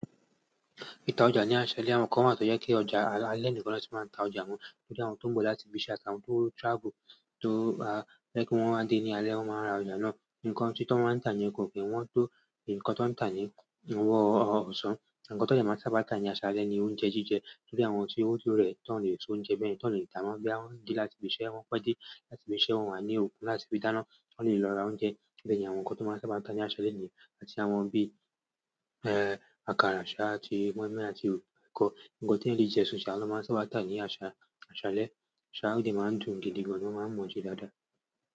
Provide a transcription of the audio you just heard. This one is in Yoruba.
Ìta ọjà ní aṣálẹ, àwọn kan wa to yẹ kí ọjà a alẹ́ nìkan lọ ti máa ń ta ọjà wọn, ntorí àwọn tó ń bọ̀ láti ibi iṣẹ́ àti àwọn tó travel tó a ẹ́ kí wọ́n máa n dé ní alẹ́, wọ́n máa wa ra ọjà náà. Nǹkan ti to won ta ni ko ki n won to, nǹkan to n ta ni ni won o so ǹnkan tó dẹ máa sábà tà ní aṣálẹ́ ni oúnjẹ jíjẹ torí àwọn tí ó to rẹ̀ tó ń lè se oúnjẹ bẹ́yen tó ń lè dà ná boya wọn n de láti ibi iṣẹ́ wọn pe dé, láti ibi iṣẹ́ wọn wá ní ero, láti fi dáná, wọ́n lè lọ ra oúnjẹ. Bẹ́ẹ̀ ni àwọn nǹkan tó máa ń sábà tà ní aṣálẹ́ nìyẹn, àti àwọn bí, ẹ́, àkàrà sa àti moinmoin àti kọ̀. Ǹnkan tí ẹ̀eyan le jẹ sùn sà lọ máa ń sábà tà ní aṣa-aṣálẹ́, ṣá o de máa ń dùn gidi gan an ni won máa ń mó se dáadáa.